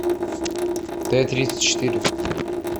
т тридцать четыре